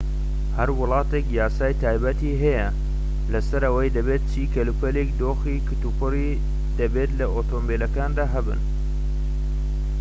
هەر وڵاتێك یاسای تایبەتی هەیە لەسەر ئەوەی دەبێت چی کەلوپەلێکی دۆخی کتوپڕی دەبێت لە ئۆتۆمبیلەکاندا هەبن